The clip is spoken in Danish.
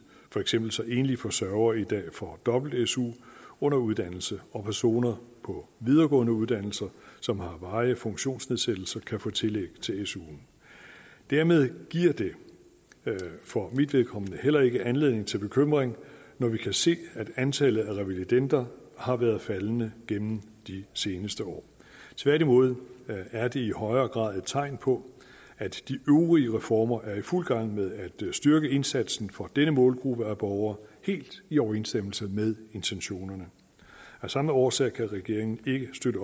for eksempel enlige forsørgere i dag får dobbelt su under uddannelse og personer på videregående uddannelser som har varige funktionsnedsættelser kan få tillæg til su dermed giver det for mit vedkommende heller ikke anledning til bekymring når vi kan se at antallet af revalidender har været faldende gennem de seneste år tværtimod er det i højere grad tegn på at de øvrige reformer er i fuld gang med at styrke indsatsen for denne målgruppe af borgere helt i overensstemmelse med intentionerne af samme årsag kan regeringen ikke støtte